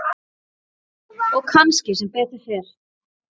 Og kannski sem betur fer.